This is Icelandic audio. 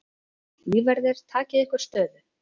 Lífverðir takið ykkur stöðu.